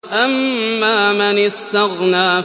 أَمَّا مَنِ اسْتَغْنَىٰ